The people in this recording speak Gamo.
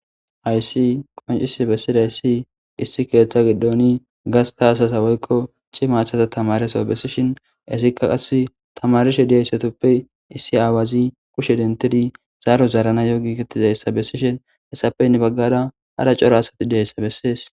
Aysi qoncisi bessiday ssi issi keeththa giddoni gasta asasa woykko ci maathata tamareso bessishin esikka qass tamarishe diyayssatuppe issi aawazi kushe dentidi zaaro zarana yo giikettizayssa bessishin hessappenne baggara hara coro asati diyayssa bessees.